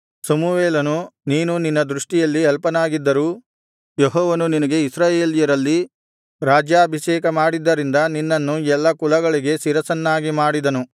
ಸಮುವೇಲನು ನೀನು ನಿನ್ನ ದೃಷ್ಟಿಯಲ್ಲಿ ಅಲ್ಪನಾಗಿದ್ದರೂ ಯೆಹೋವನು ನಿನಗೆ ಇಸ್ರಾಯೇಲ್ಯರಲ್ಲಿ ರಾಜ್ಯಾಭಿಷೇಕ ಮಾಡಿದ್ದರಿಂದ ನೀನು ಎಲ್ಲಾ ಕುಲಗಳಿಗೆ ಶಿರಸ್ಸನ್ನಾಗಿ ಮಾಡಿದನು